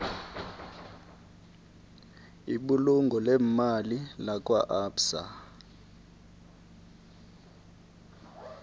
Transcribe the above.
ibulungo leemali lakwaabsa